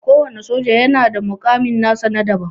Kowana soja yana da mukami nasa na daban.